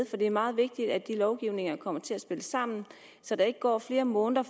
for det er meget vigtigt at de lovgivninger kommer til at spille sammen så der ikke går flere måneder